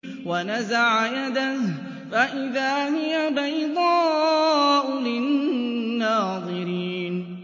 وَنَزَعَ يَدَهُ فَإِذَا هِيَ بَيْضَاءُ لِلنَّاظِرِينَ